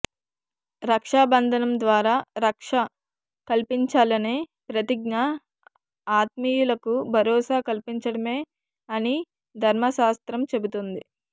రక్షాబంధనం ద్వారా రక్ష కల్పించాలనే ప్రతిజ్ఞ ఆత్మీయులకు భరోసా కల్పించడమే అని ధర్మశాస్త్రం చెబుతోంది